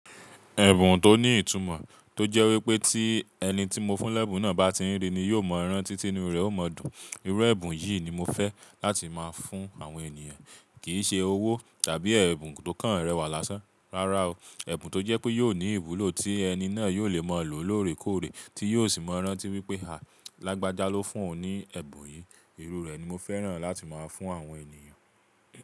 Ẹ̀bùn tó ní ìtumọ̀ tó jẹ́ wípé tí ẹni tí mo fún lẹ́bùn náà bá ti rí ni yóò mọ ìran títí inú rẹ̀ ó mọ dùn. Irú ẹ́bùn yìí ni mo fẹ́ láti máa fún àwọn ènìyàn kì í ṣe owó tàbí ẹ̀bùn tó kàn rẹwà lásán. Rárá o. Ẹ̀bùn tó jẹ́ pé yóò ní ìwúlò tí ẹni náà yóò lè mọ̀ lò lóòrèkóòrè tí yóò sì mọ̀ rántí wípé à, Lágbájá ló fún ọ ní ẹ̀bùn yìí. Irú rẹ̀ ni mo fẹ́ràn láti máa fún àwọn ènìyàn.